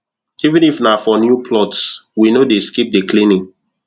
even if na for new plots we no dey skip the cleaning